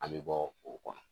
An bɛ bɔ o kɔnɔ